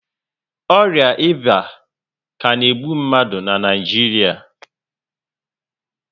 Ọrịa ịba ka na egbu mmadụ na Naijiria